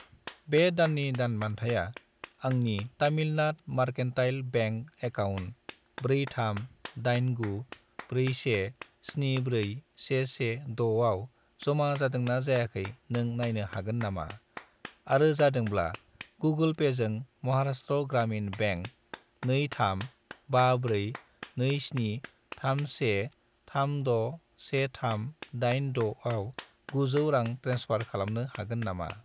बे दाननि दान बान्थाया आंनि तामिलनाद मारकेन्टाइल बेंक एकाउन्ट 43894174116 आव जमा जादोंना जायाखै नों नायनो हागोन नामा, आरो जादोंब्ला, गुगोल पेजों महाराष्ट्र ग्रामिन बेंक 23542731361386 आव 900 रां ट्रेन्सफार खालामनो हागोन नामा?